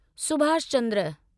Subhash Chandra